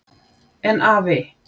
En afi.